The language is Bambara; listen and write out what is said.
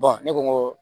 ne ko n ko